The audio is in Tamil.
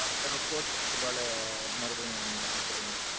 அப்பறோம் ஒரு fourth ball மறுபடியும் wicketங்க.